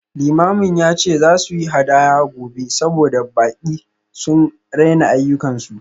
Limamin ya ce za su yi hadaya gobe saboda baƙi sun raina ayyukansu